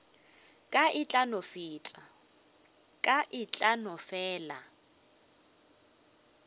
ka e tla no fela